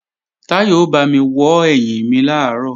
Táyọ̀ ó bámi wọ́ ẹ̀yìn mi làárọ̀